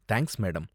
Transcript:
Thanks madam.